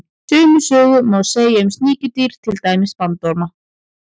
Sömu sögu má segja um sníkjudýr, til dæmis bandorma.